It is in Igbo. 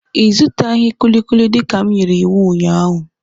Ị zụtaghị kulikuli dịka m nyere iwu ụnyaahụ.